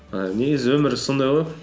ііі негізі өмір өзі сондай ғой